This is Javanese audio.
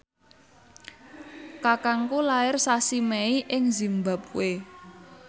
kakangku lair sasi Mei ing zimbabwe